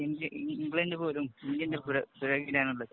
India, England പോലും ഇന്ത്യന്‍റെ പിറകില്‍ ആണുള്ളത്..